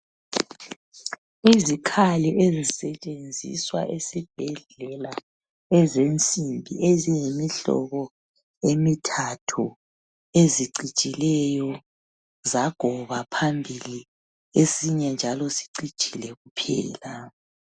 Izikhali ezisetshenziswa esibhedlela ezensimbi eziyimihlobo emithathu, ezicijileyo zagoba phambili, esinye njalo sicijile kuphela.